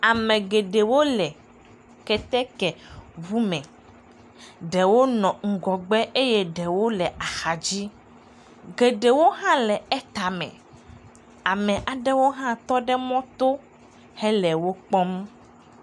Ame geɖewo le kɛtɛkɛŋu me, ɖewo nɔ ŋgɔgbe eye ɖewo le axa dzi, geɖewo hã le etame, ame aɖewo hã tɔ ɖe mɔto hele wo kpɔm.